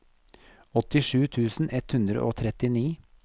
åttisju tusen ett hundre og trettini